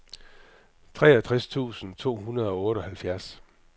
treogtres tusind to hundrede og otteoghalvfjerds